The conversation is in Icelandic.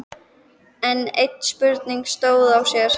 Enn ein spurningin stóð á sér.